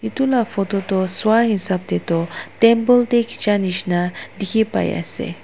edu la photo toh swahisap taetu temple tae khija nishi na dikhiase.